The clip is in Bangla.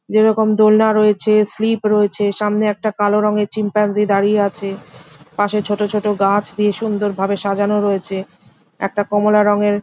যেরকম দোলনা রয়েছে স্লিপ রয়েছে সামনে একটা কালো রঙের শিম্পাঞ্জ দাঁড়িয়ে আছে পাশে ছোট ছোট গাছ দিয়ে সুন্দর ভাবে সাজানো রয়েছে একটা কমলা রঙের--